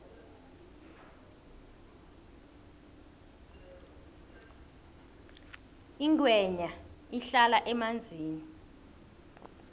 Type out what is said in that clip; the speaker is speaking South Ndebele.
ingwenya ihlala emanzini